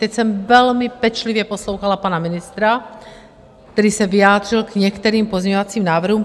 Teď jsem velmi pečlivě poslouchala pana ministra, který se vyjádřil k některým pozměňovacím návrhům.